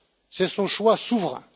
C'est son choix souverain.